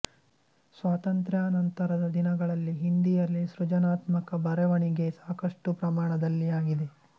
ಸ್ವಾತಂತ್ರ್ಯಾನಂತರದ ದಿನಗಳಲ್ಲಿ ಹಿಂದೀಯಲ್ಲಿ ಸೃಜನಾತ್ಮಕ ಬರೆವಣಿಗೆ ಸಾಕಷ್ಟು ಪ್ರಮಾಣದಲ್ಲಿ ಆಗಿದೆ